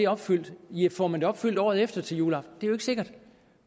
opfyldt får man det opfyldt året efter til juleaften det er jo ikke sikkert